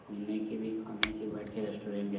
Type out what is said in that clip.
घूमने के भी खाने के बैठ के रेस्टोरेंट है।